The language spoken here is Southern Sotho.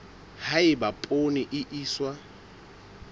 ha eba poone e iswa